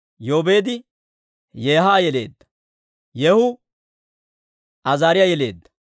Yoobeedi Yeeha yeleedda; Yeehu Azaariyaa yeleedda;